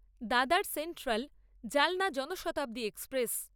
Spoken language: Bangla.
দাদার সেন্ট্রাল জালনা জনশতাব্দী এক্সপ্রেস